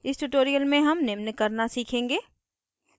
इस tutorial में हम निम्न करना सीखेंगे